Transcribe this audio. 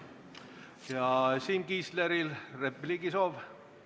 Kas Siim Kiisleril on repliigisoov?